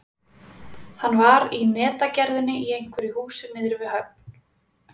Hann var í netagerðinni í einhverju húsi niðri við höfn.